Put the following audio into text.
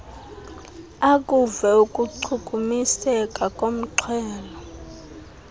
akuve ukuchukumiseka kornxhelo